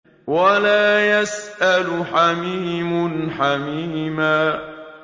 وَلَا يَسْأَلُ حَمِيمٌ حَمِيمًا